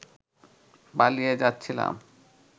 পালিয়ে যাচ্ছিলাম